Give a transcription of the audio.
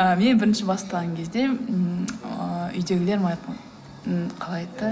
ы мен бірінші бастаған кезде ммм ыыы үйдегілер маған айтқан ы қалай айтты